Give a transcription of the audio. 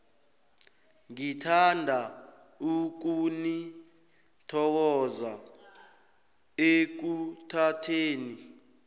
ngithanda ukunithokoza ekuthatheni